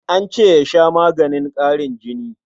An ce ya sha maganin ƙarin jini.